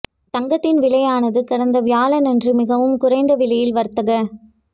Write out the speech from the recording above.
தங்கத்தின் விலையானது கடந்த வியாழன் அன்று மிகவும் குறைந்த விலையில் வர்த்தக